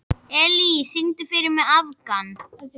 Elía, syngdu fyrir mig „Afgan“.